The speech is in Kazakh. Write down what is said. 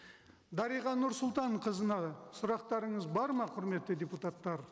дариға нұрсұлтанқызына сұрақтарыңыз бар ма құрметті депутаттар